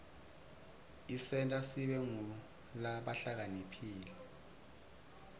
isenta sibe ngulabahlakaniphile